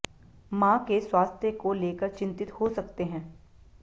मां के स्वास्थ्य को लेकर चिंतित हो सकते हैं